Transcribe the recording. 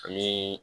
Ani